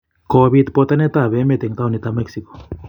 Kopit botanet ab emet en taonit ab mexico.